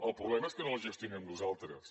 el problema és que no el gestionem nosaltres